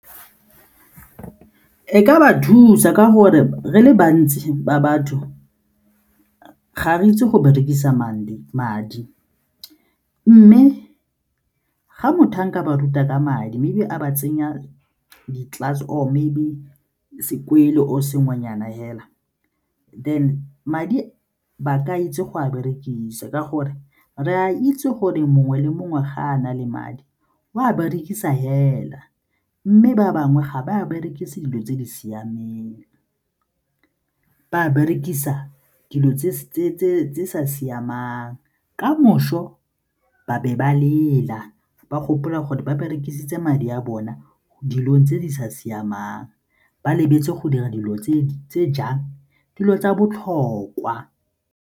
E ka ba thusa ka gore re le bantsi ba batho ga re itse go berekisa madi mme ga motho a nka ba ruta ka madi mme be a ba tsenya di-class or maybe sekolo sengwenyana fela then madi ba ka itse go a berekisa ka gore re a itse gore mongwe le mongwe ga a na le madi o a berekisa fela mme ba bangwe ga ba a berekise dilo tse di siameng, ba berekisa dilo tse sa siamang ka moso ba be ba lela, ba gopola gore ba berekisitse madi a bona dilong tse di sa siamang ba lebetse go dira dilo tse jang? Dilo tsa botlhokwa.